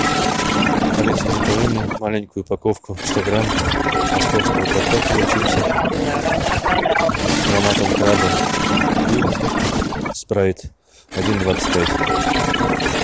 алиса закажи мне маленькую упаковку сто грамм московского картофеля чипсы с ароматом краба и спрайт один двадцать пять